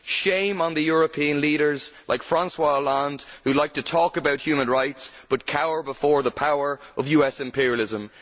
Shame on the European leaders like François Hollande, who like to talk about human rights but cower before the power of US imperialism!